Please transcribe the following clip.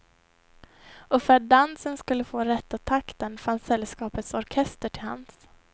Och för att dansen skulle få rätta takten fanns sällskapets orkester till hands.